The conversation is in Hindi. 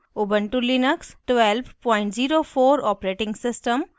* ubuntu लिनक्स 1204 os